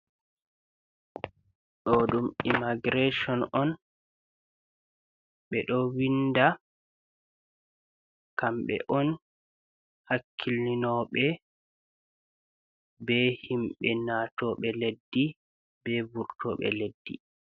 Ɗo ɗum imagirason on. Ɓe ɗo winɗa. Kamɓe on hakkilinoɓe ɓe himɓe natoɓe leɗɗi, ɓe vurtoɓe leɗɗi.